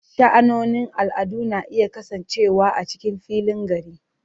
Sha'anonin al'adu na iya kasancewa a cikin filin gari.